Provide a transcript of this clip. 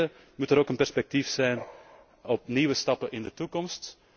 Ten vierde, moet er ook een perspectief zijn op nieuwe stappen in de toekomst.